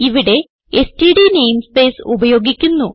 ഇവിടെ STD namespace ഉപയോഗിക്കുന്നു